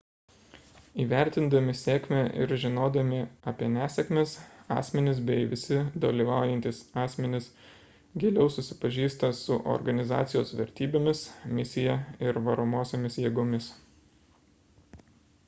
įvertindami sėkmę ir žinodami apie nesėkmes asmenys bei visi dalyvaujantys asmenys giliau susipažįsta su organizacijos vertybėmis misija ir varomosiomis jėgomis